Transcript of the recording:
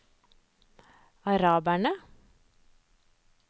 araberne